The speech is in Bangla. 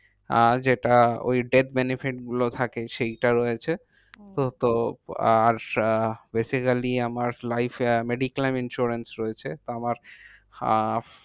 আর যেটা ওই death benefit গুলো থাকে সেইটা রয়েছে। হম তো তো আর আহ basically আমার life এ life mediclain insurance রয়েছে। তো আমার